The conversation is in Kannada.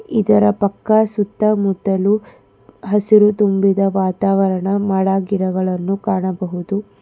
ಇದರ ಪಕ್ಕ ಸುತ್ತಮುತ್ತಲು ಹಸಿರು ತುಂಬಿದ ವಾತಾವರಣ ಮರ ಗಿಡಗಳನ್ನು ಕಾಣಬಹುದು.